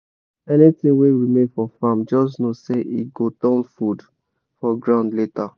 anything wey remain for farm just know say e go turn food for ground later.